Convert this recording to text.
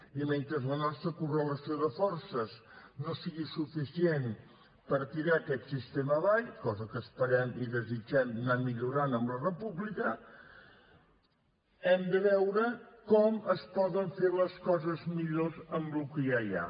i mentre la nostra correlació de forces no sigui suficient per tirar aquest sistema avall cosa que esperem i desitgem anar millorant amb la república hem de veure com es poden fer les coses millor amb el que ja hi ha